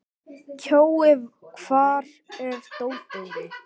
Kjói, hvar er dótið mitt?